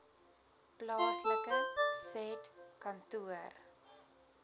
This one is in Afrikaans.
plaaslike said kantoor